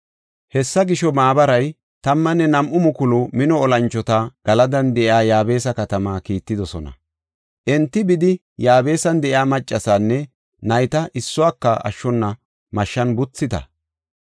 Hessa gisho, maabaray 12,000 mino olanchota Galadan de7iya Yaabesa katamaa kiittidosona. Enti bidi, “Yaabesan de7iya maccasaanne nayta issuwaka ashshona mashshan buthite.